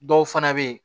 Dɔw fana bɛ yen